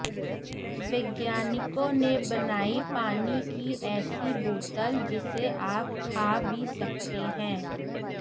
वैज्ञानिकों ने बनाई पानी की ऐसी बोतल जिसे आप खा भी सकते हैं